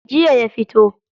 Jiya ya fito.